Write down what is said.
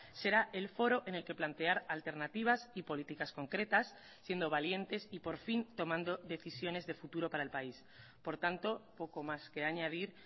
será el foro en el que plantear alternativas y políticas concretas siendo valientes y por fin tomando decisiones de futuro para el país por tanto poco más que añadir